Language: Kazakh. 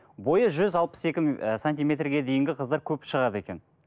бойы жүз алпыс екі ы сантиметрге дейінгі қыздар көп шығады екен